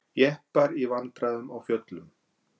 Jeppar í vandræðum á fjöllum